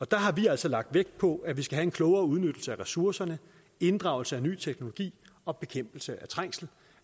der har vi altså lagt vægt på at vi skal have en klogere udnyttelse af ressourcerne inddragelse af ny teknologi og bekæmpelse af trængsel